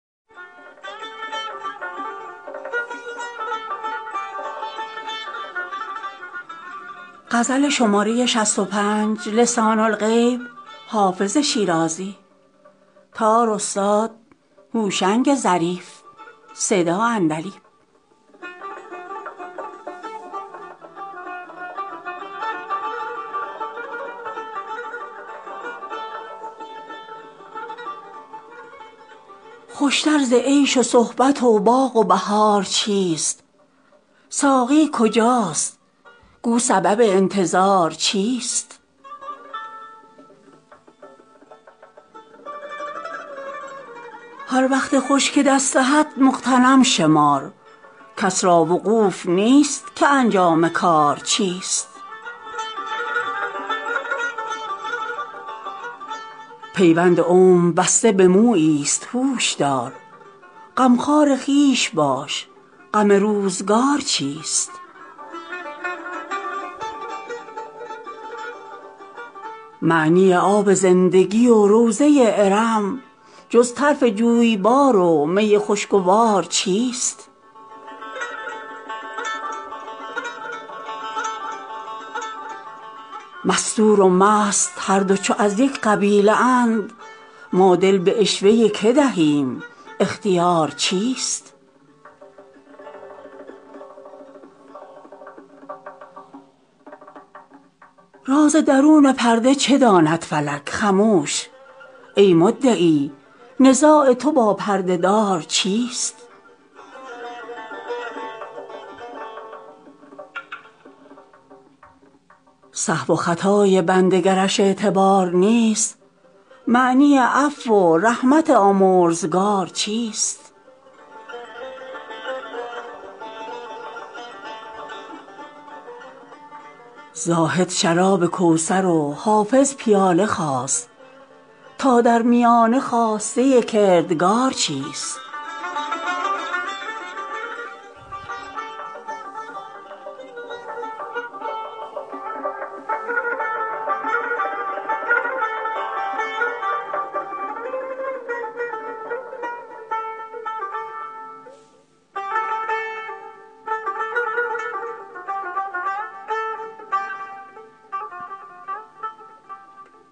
خوش تر ز عیش و صحبت و باغ و بهار چیست ساقی کجاست گو سبب انتظار چیست هر وقت خوش که دست دهد مغتنم شمار کس را وقوف نیست که انجام کار چیست پیوند عمر بسته به مویی ست هوش دار غمخوار خویش باش غم روزگار چیست معنی آب زندگی و روضه ارم جز طرف جویبار و می خوشگوار چیست مستور و مست هر دو چو از یک قبیله اند ما دل به عشوه که دهیم اختیار چیست راز درون پرده چه داند فلک خموش ای مدعی نزاع تو با پرده دار چیست سهو و خطای بنده گرش اعتبار نیست معنی عفو و رحمت آمرزگار چیست زاهد شراب کوثر و حافظ پیاله خواست تا در میانه خواسته کردگار چیست